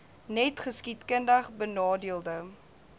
net geskiedkundig benadeelde